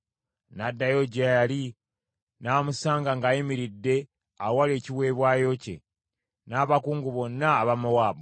N’addayo gye yali, n’amusanga ng’ayimiridde awali ekiweebwayo kye, n’abakungu bonna aba Mowaabu.